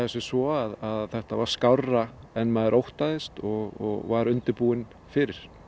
sem svo að þetta var skárra en maður óttaðist og var undirbúinn fyrir